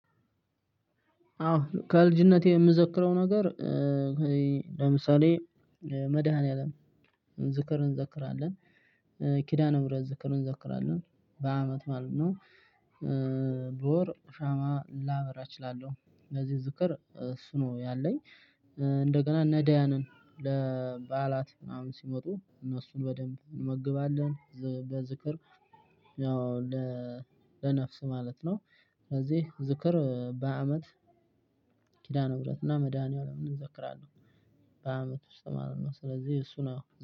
አዎ ከልጅነቴ የምዘክረው ነገር። ለምሳሌ መድኃኒዓለም ዝክር እንዘክራለን ኪዳነ ምርረት ዝክር እንዘክራለን በአመት ማለት ነው። በወር ሻማ ላበራ እችላለሁ ለዚህ ዝከር እሱ ነው ያለኝ። እንደገና ነዳያንን ለባአላት ምናምን ሲመጡ እነሱን በደንብ እንመግባለን በዝክር። ያው ለነፍስ ማለት ነው ስለዚህ ዝክር በአመት ኪዳነ ህብረት እና መድኃኒዓለምን እዘክራለሁ። በአመት ውስጥ ማለት ነው ስለዚህ እሱ ነው ያው